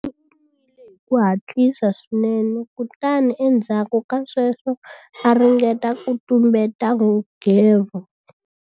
U nwile hi ku hatlisa swinene kutani endzhaku ka sweswo a ringeta ku tumbeta nghevo.